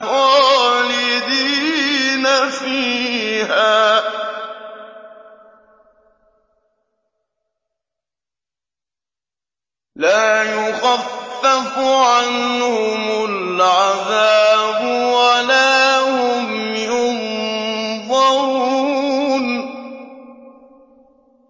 خَالِدِينَ فِيهَا ۖ لَا يُخَفَّفُ عَنْهُمُ الْعَذَابُ وَلَا هُمْ يُنظَرُونَ